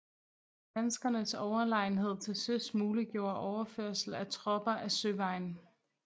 Danskernes overlegenhed til søs muliggjorde overførsel af tropper ad søvejen